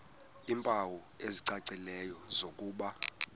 iimpawu ezicacileyo zokuba